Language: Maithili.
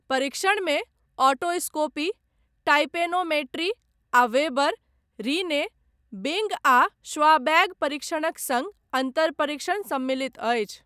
परीक्षणमे ओटोस्कोपी, टाइम्पेनोमेट्री, आ वेबर, रिने, बिंग आ श्वाबैक परीक्षणक सङ्ग अन्तर परीक्षण सम्मिलित अछि।